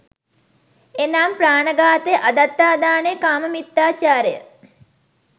එනම්, ප්‍රාණ ඝාතය, අදත්තාදානය, කාම මිථ්‍යාචාරය